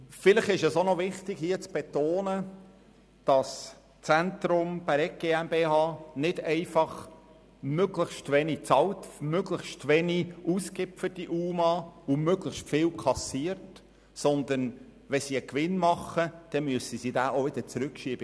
Vielleicht ist es auch noch wichtig, hier zu betonen, dass das Zentrum Bäregg nicht einfach möglichst wenig für die UMA ausgibt und möglichst viel kassiert, sondern es muss einen allfälligen Gewinn auch wieder an den Kanton zurücktransferieren.